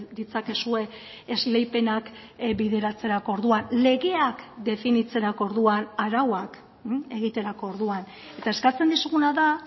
ditzakezue esleipenak bideratzerako orduan legeak definitzerako orduan arauak egiterako orduan eta eskatzen dizuguna da